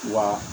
Wa